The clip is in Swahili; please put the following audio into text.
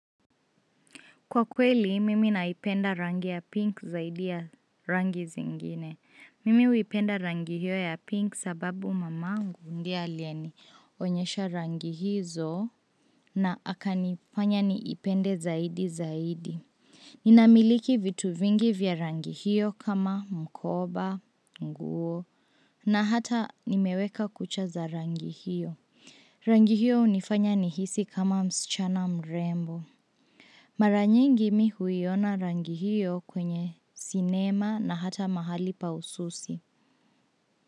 Kwa kweli, mimi naipenda rangi ya pinki zaidi ya rangi zingine. Mimi huipenda rangi hiyo ya pinki sababu mamangu ndiye alienionyesha rangi hizo na akanifanya niipende zaidi zaidi. Ninamiliki vitu vingi vya rangi hiyo kama mkoba, nguo na hata nimeweka kucha za rangi hiyo. Rangi hiyo hunifanya nihisi kama msichana mrembo. Mara nyingi mimi huiona rangi hiyo kwenye sinema na hata mahali pa ususi.